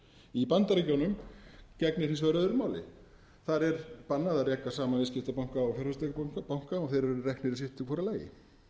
í bandaríkjunum gegnir hins vegar öðru máli þar er bannað að reka saman viðskiptabanka og fjárfestingarbanka og þeir eru reknir sitt í hvoru lagi